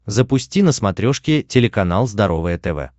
запусти на смотрешке телеканал здоровое тв